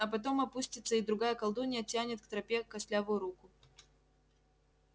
а потом опустится и другая колдунья тянет к тропе костлявую руку